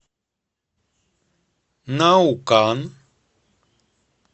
наукан